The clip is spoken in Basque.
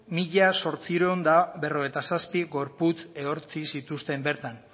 mila zortziehun eta berrogeita zazpi gorputz ehortzi zituzten bertan